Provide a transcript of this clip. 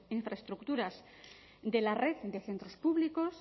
infraestructuras de la red de centros públicos